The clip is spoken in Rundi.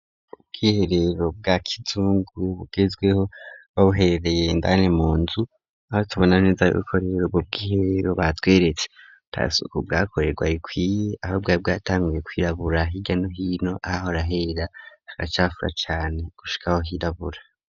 Ubwiherero bwa kizungu bugezweho babuherereye indani munzu aho tubona neza rero yuko ubwo bw'iherero batweretse atasuku bwakorerwa ikwiye ahubwo bwari bwatanguye kwirabura hirya no hino ahahora hera hagacafura cane gushikaho hirabura.